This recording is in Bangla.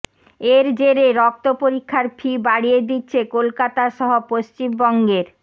এর জেরে রক্ত পরীক্ষার ফি বাড়িয়ে দিচ্ছে কলকাতাসহ পশ্চিমবঙ্গের